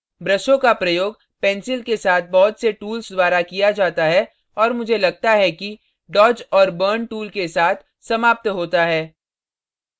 ब्रशों का प्रयोग pencil के साथ बहुत से tools द्वारा किया जाता है और मुझे लगता है कि dodge dodge और burn burn tools के साथ समाप्त होता है